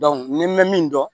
ni n bɛ min dɔn